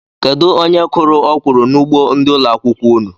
Kedụ onye kụrụ okwuru n'ugbo ndị ụlọ akwụkwọ unu?